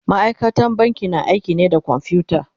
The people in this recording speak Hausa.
ma'aikatan banki na aiki ne da kwamfuta